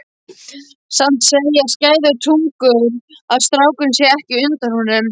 Samt segja skæðar tungur að strákurinn sé ekki undan honum.